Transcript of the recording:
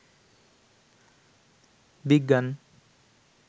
বিজ্ঞান